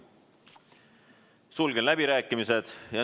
Sulgen läbirääkimised.